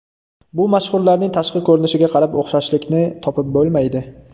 Bu mashhurlarning tashqi ko‘rinishiga qarab o‘xshashlikni topib bo‘lmaydi.